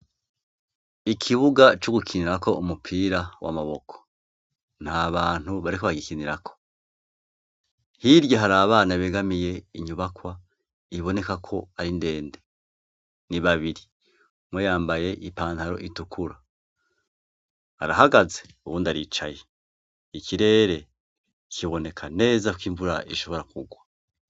Ikibuga c'ugukinirak' umupira w' amaboko nt' abantu bariko baragikinirako, hirya har' abana begamiy' inyubakwa ibonekak' arindende n ibabiri, umwe yambay' ipantar' itukur' arahagaze, uwund' aricaye, ikirere kiboneka neza k' imvur' ishobora kugwa.